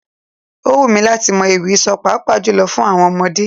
Ó wù mí láti mọ ewì sọ, pàápàá jùlọ fún àwọn ọmọdé.